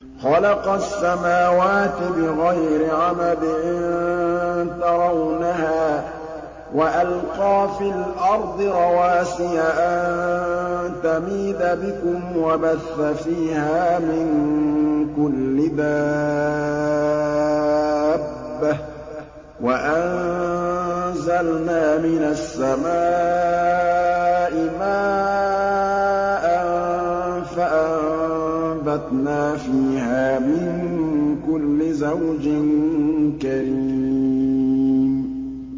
خَلَقَ السَّمَاوَاتِ بِغَيْرِ عَمَدٍ تَرَوْنَهَا ۖ وَأَلْقَىٰ فِي الْأَرْضِ رَوَاسِيَ أَن تَمِيدَ بِكُمْ وَبَثَّ فِيهَا مِن كُلِّ دَابَّةٍ ۚ وَأَنزَلْنَا مِنَ السَّمَاءِ مَاءً فَأَنبَتْنَا فِيهَا مِن كُلِّ زَوْجٍ كَرِيمٍ